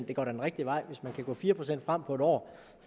det går da den rigtige vej hvis man kan gå fire procent frem på et år